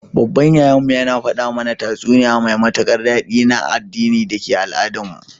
Baban Yayan mu, ya fada mana tatsuniya mai batikar dadi na addini dake Al-Adan mu.